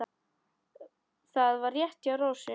Það var rétt hjá Rósu.